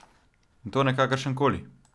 In to ne kakršenkoli.